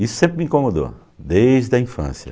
Isso sempre me incomodou, desde a infância.